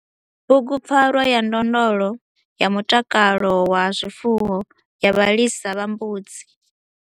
BUGUPFARWA YA NDONDLO YA MUTAKALO WA ZWIFUWO YA VHALISA VHA MBUDZI